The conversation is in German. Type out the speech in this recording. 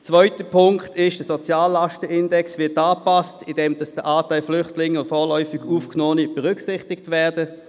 Der zweite Punkt ist, dass der Soziallastenindex so angepasst wird, dass der Anteil der Flüchtlinge und vorläufig Aufgenommenen berücksichtigt wird.